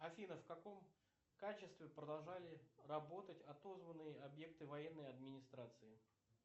афина в каком качестве продолжали работать отозванные объекты военной администрации